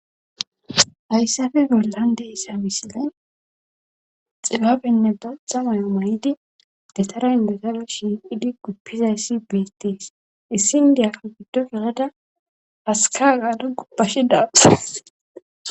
hayssafe gollan de issa misile xibabenne daxa mayo may7idi detara indezabe shiqidi guppizayssi beettees issin diyakka giddo yelada haska gaadu gubbashi daate